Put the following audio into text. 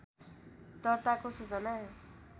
दर्ताको सूचना